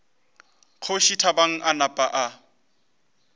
kgoši thabang a napa a